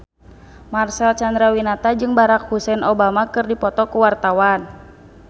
Marcel Chandrawinata jeung Barack Hussein Obama keur dipoto ku wartawan